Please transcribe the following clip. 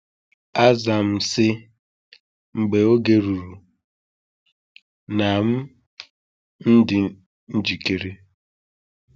“Aza m sị, ‘Mgbe oge ruru na m m dị njikere.’”